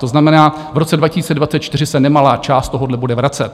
To znamená, v roce 2024 se nemalá část tohohle bude vracet.